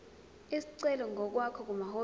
isicelo ngokwakho kumahhovisi